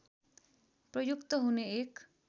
प्रयुक्त हुने एक